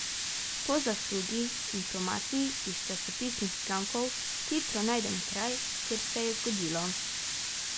Po zaslugi informacij iz časopisnih člankov hitro najdem kraj, kjer se je zgodilo.